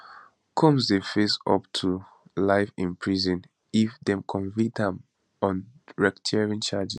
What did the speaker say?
combs dey face up to life in prison if dem convict am on racketeering charge